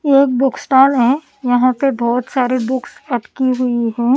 येएक book stall है यहां पे बहुत सारे बुक्स रखी हुई है।